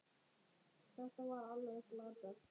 Þetta var alveg glatað.